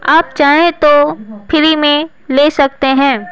आप चाहें तो फ्री में ले सकते हैं।